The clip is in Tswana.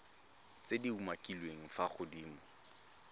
tse di umakiliweng fa godimo